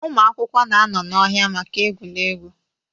ụmụ akwụkwọ na-anọ n'ọhịa maka egwuregwu